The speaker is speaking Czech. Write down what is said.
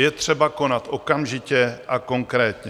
Je třeba konat okamžitě a konkrétně.